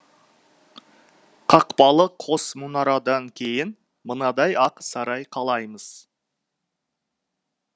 қақпалы қос мұнарадан кейін мынадай ақ сарай қалаймыз